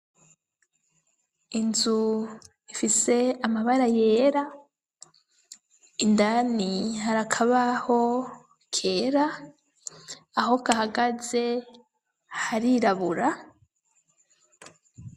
Inzu ifise amabara yera indani harakabaho kera aho kahagaze harirabura.